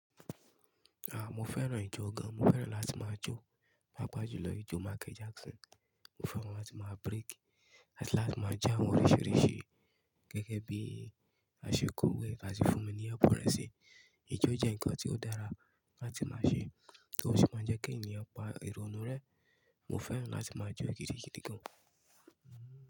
À, mo fẹ́ràn ijó gan. Mo fẹ́ràn láti máa jó, pàápàá jùlọ ijó Michael Jackson. Mo fẹ́ràn láti máa break, áti lati máa jo awọn oríṣìíríṣìí gẹ́gẹ́ bí a ṣe kó wé àti fún mi ní ẹbùn resi. Ijó jẹ́ ǹkan tí ó dára láti máa ṣe tó sì máa ń jẹ́ kí ènìyàn pa ironú rẹ̀. Mo fẹ́ràn láti máa jó gidigidi gan.